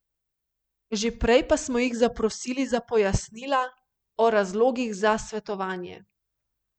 Že prej pa smo jih zaprosili za pojasnila o razlogih za svetovanje.